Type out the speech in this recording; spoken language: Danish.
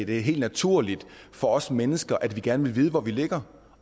det er helt naturligt for os mennesker at vi gerne vil vide hvor vi ligger